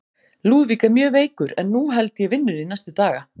Lúðvík er mjög veikur, en nú held ég vinnunni næstu daga.